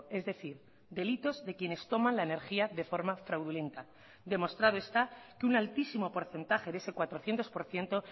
es decir delitos de quienes toman la energía de forma fraudulenta demostrado está que un altísimo porcentaje de ese cuatrocientos por ciento